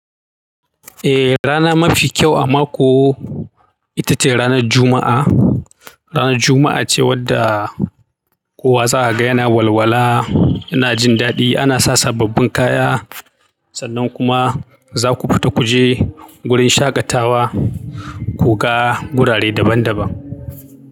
Eh, rana mafi kyau a mako ita ce ranar Juma'a. Ranar Juma'a ce wadda kowa za a ga yana walwala, yana jin daɗi, ana sa sababbin kaya sannan kuma za ku fita ku je wurin shaƙatawa ku ga gurare daban daban.